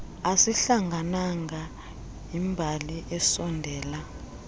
asihlangananga yimbali esondela